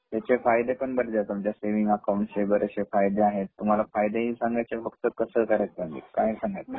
त्याचे फायदे मधले तुमच्या सेविंग अकाऊंट वैगेरे फायदे आहेत तुम्हाला फायदे हि सांगायचे का फक्त सहकार्य सांगू ?काय सांगायचे ?